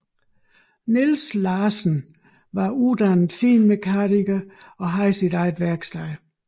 Niels Larsen var uddannet finmekaniker og havde sit eget værksted